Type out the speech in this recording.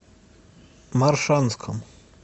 моршанском